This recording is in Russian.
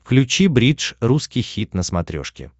включи бридж русский хит на смотрешке